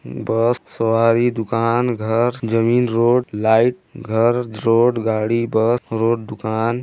बस सवारी दुकान घर जमीन रोड लाइट घर रोड गाड़ी बस रोड दुकान --